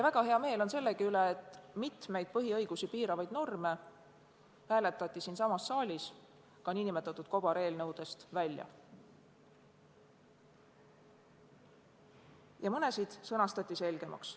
Väga hea meel on sellegi üle, et mitmed põhiõigusi piiravad normid hääletati siinsamas saalis ka nn kobareelnõudest välja ja mõned sõnastati selgemaks.